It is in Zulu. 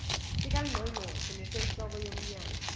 sikangqongqoshe nesenhloko yomnyango